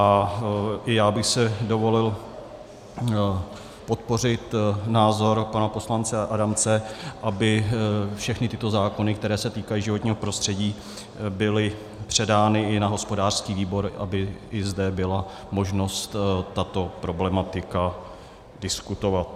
A i já bych si dovolil podpořit názor pana poslance Adamce, aby všechny tyto zákony, které se týkají životního prostředí, byly předány i na hospodářský výbor, aby i zde byla možnost tuto problematiku diskutovat.